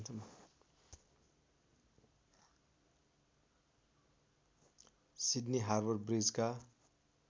Sydney Harbour ब्रिजका